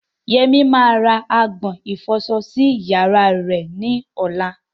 Yemi máa ra agbọ̀n ìfọsọ sí yàrá rẹ̀ ní ọ̀la.